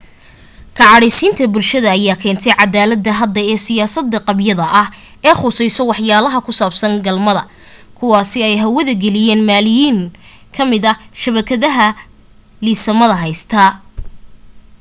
ka cadhaysiinta bulshada ayaa keentay dadaalada hadda ee siyaasada qabyada ah ee khuseeya waxyaalaha ku saabsan galmada kuwaasi oo ay hawada galiyaan malaayiin kamida shabakadaha liisamada haystaa